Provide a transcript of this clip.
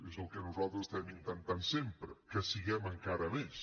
és el que nosaltres estem intentant sempre que siguem encara més